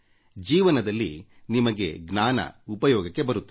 ಜೀವನದಲ್ಲಿ ನಿಮಗೆ ಜ್ಞಾನ ಉಪಯೋಗಕ್ಕೆ ಬರುತ್ತದೆ